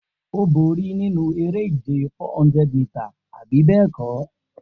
O bori ninu ere-ije 400 mita, abi bẹẹkọ?